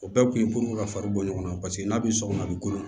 O bɛɛ kun ye ka fari bɔ ɲɔgɔn na paseke n'a be so kɔnɔ a bi kɔnɔ